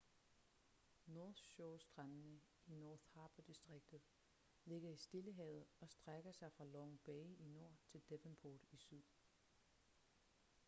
north shore-strandene i north harbour-distriktet ligger i stillehavet og strækker sig fra long bay i nord til devonport i syd